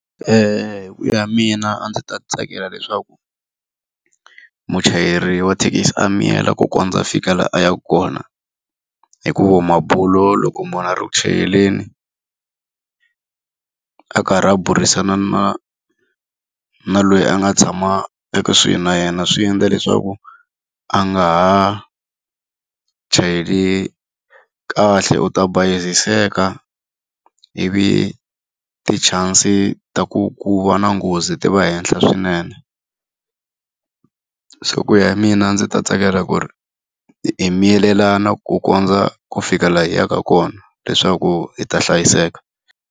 hi ku ya mina a ndzi ta tsakela leswaku muchayeri wa thekisi a miyela ku kondza a fika laha a yaka kona. Hikuva mabulo loko munhu a ri ku chayeleni, a karhi a burisana na na loyi a nga tshama ekusuhi na yena swi endla leswaku a nga ha chayeli kahle. U ta bayiziseka ivi ti-chance-i ta ku ku va na nghozi ti va henhla swinene. Se ku ya hi mina a ndzi ta tsakela ku ri hi miyelelana ku kondza ku fika laha hi yaka kona leswaku hi ta hlayiseka.